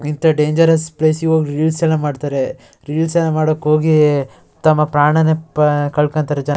ಇಂತ dangerous place ಗೆ ಹೋಗಿ ರೀಲ್ಸ್ ಎಲ್ಲ ಮಾಡತಾರೆ ರೀಲ್ಸ್ ಮಾಡಕ್ ಹೋಗಿ ಅಹ್ ತಮ್ಮ ಪ್ರಾಣನೇ ಕಲ್ಕಳ್ತಾರೆ ಜನ.